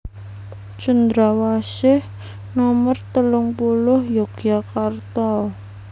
Cendrawasih nomer telung puluh Yogyakarta